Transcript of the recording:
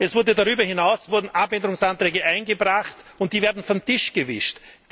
Es wurden darüber hinaus Änderungsanträge eingebracht, und die werden vom Tisch gewischt.